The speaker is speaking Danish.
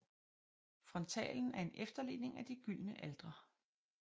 Frontalen er en efterligning af de gyldne altre